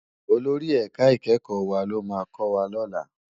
Ólóri èká ikèékò wá ló má kòwá lòlá